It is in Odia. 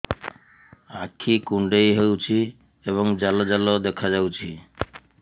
ଆଖି କୁଣ୍ଡେଇ ହେଉଛି ଏବଂ ଜାଲ ଜାଲ ଦେଖାଯାଉଛି